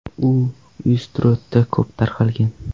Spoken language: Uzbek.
U Ustyurtda ko‘p tarqalgan.